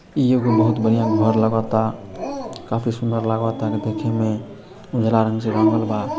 इ एगो बहुत बढ़ियां घर लागता काफी सुन्दर लागत ता देखेमें उजला रंग से रंगल बा |